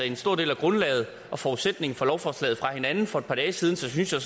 en stor del af grundlaget og forudsætningen for lovforslaget fra hinanden for et par dage siden så synes jeg